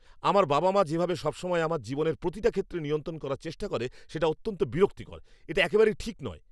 আমার বাবা মা যেভাবে সবসময় আমার জীবনের প্রতিটা ক্ষেত্রে নিয়ন্ত্রণ করার চেষ্টা করে, সেটা অত্যন্ত বিরক্তিকর। এটা একেবারেই ঠিক নয়।